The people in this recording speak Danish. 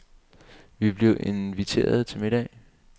Vi blev inviteret til middag.